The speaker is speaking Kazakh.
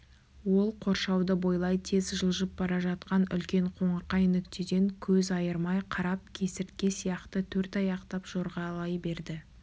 ол қоршауды бойлай тез жылжып бара жатқан үлкен қоңырқай нүктеден көз айырмай қарап кесіртке сияқты төртаяқтап жорғалай берді